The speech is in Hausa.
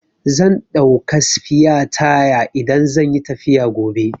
Zan ɗauka sfiya taya idan zan yi tafiya gobe.